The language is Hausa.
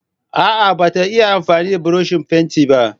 A'a bata iya amfani da burushin fenti ba.